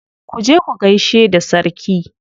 Ku je ku gaishe da sarki.